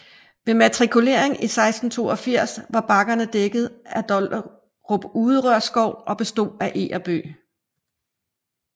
Ved matrikuleringen i 1682 var bakkerne dækket af Dollerup Uderør Skov som bestod af eg og bøg